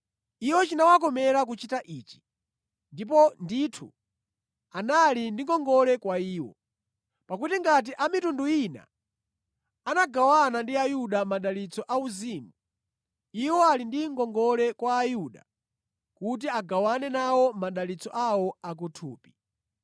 Iwo chinawakomera kuchita ichi, ndipo ndithu anali ndi ngongole kwa iwo. Pakuti ngati a mitundu ina anagawana ndi Ayuda madalitso auzimu, iwo ali ndi ngongole kwa Ayuda kuti agawane nawo madalitso awo a ku thupi.